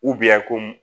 komi